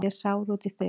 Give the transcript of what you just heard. Ég er sár út í þig.